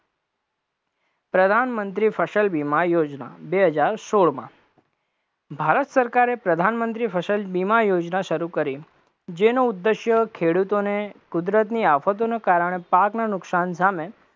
પ્રધાનમંત્રી ફસલ વીમા યોજના, બે હજાર સોળમા ભારત સરકારે પ્રધાનમંત્રી ફસલ વીમા યોજના શરુ કરી, જેનો ઉદ્દેશ્ય ખેડૂતોને કુદરતની આફતોને કારણે પાકના નુકશાન સામે